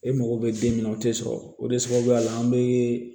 E mago bɛ den min na o tɛ sɔrɔ o de sababuya la an bɛ